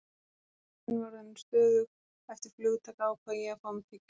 Þegar vélin var orðin stöðug eftir flugtak ákvað ég að fá mér tyggjó.